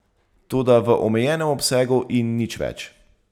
Toda v omejenem obsegu in nič več.